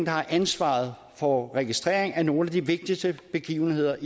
har ansvaret for registrering af nogle af de vigtigste begivenheder